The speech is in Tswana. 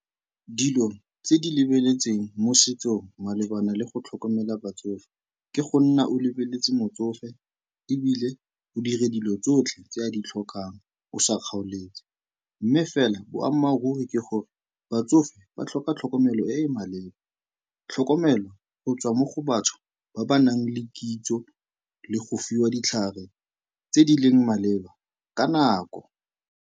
Dilo tse di lebeletsweng mo setsong malebana le go tlhokomela batsofe, ke go nna o lebeletse motsofe ebile o dire dilo tsotlhe tse a di tlhokang o sa kgaoletse. Mme fela, boammaaruri ke gore batsofe ba tlhoka tlhokomelo e e maleba, tlhokomelo go tswa mo go batho ba ba nang le kitso le go fiwa ditlhare tse di leng maleba ka nako.